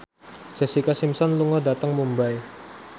Jessica Simpson lunga dhateng Mumbai